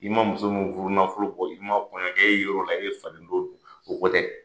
I ma muso min furu nafolo bɔ, i ma kɔɲɔɲakɛ, e ye yɔrɔ la. I ye faden to dun, o ko tɛ.